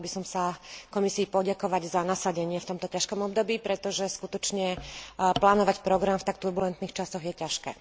Chcela by som sa Komisii poďakovať za nasadenie v tomto ťažkom období, pretože, skutočne, plánovať program v tak turbulentných časoch je ťažké.